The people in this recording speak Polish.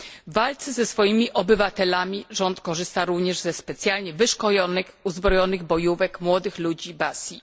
W walce ze swoimi obywatelami rząd korzysta również ze specjalnie wyszkolonych, uzbrojonych bojówek młodych ludzi Basji.